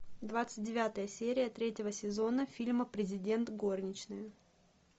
двадцать девятая серия третьего сезона фильма президент горничная